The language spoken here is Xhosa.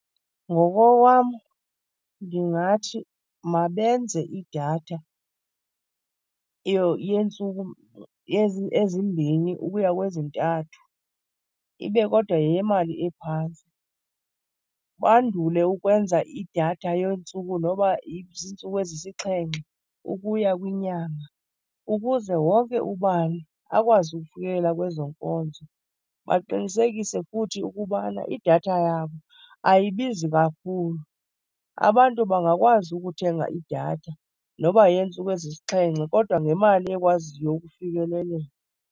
Ngokokwam ndingathi mabenze idatha yeentsuku ezimbini ukuya kwezintathu, ibe kodwa yeyemali ephantsi. Bandule ukwenza idatha yeentsuku noba ziintsuku ezisixhenxe ukuya kwinyanga ukuze wonke ubani akwazi ukufikelela kwezo nkonzo. Baqinisekise futhi ukubana idatha yabo ayibizi kakhulu, abantu bangakwazi ukuthenga idatha noba yeyeentsuku ezisixhenxe kodwa ngemali ekwaziyo ukufikeleleka.